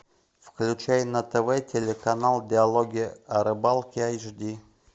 включай на тв телеканал диалоги о рыбалке эйч ди